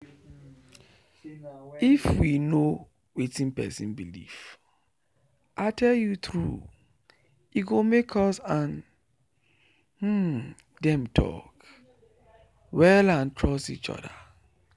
if we know wetin person believe i tell you true e go make us and dem talk well and trust each other.